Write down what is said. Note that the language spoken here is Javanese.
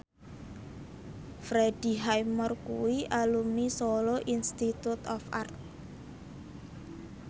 Freddie Highmore kuwi alumni Solo Institute of Art